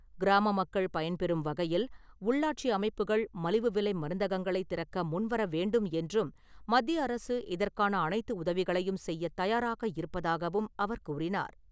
கிராம மக்கள் பயன்பெறும் வகையில், உள்ளாட்சி அமைப்புகள் மலிவு விலை மருந்தகங்களைத் திறக்க முன்வர வேண்டும் என்றும் மத்திய அரசு இதற்கான அனைத்து உதவிகளையும் செய்யத் தயாராக இருப்பதாகவும் அவர் கூறினார்.